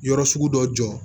Yɔrɔ sugu dɔ jɔ